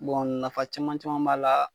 Bɔn nafa caman caman b'a la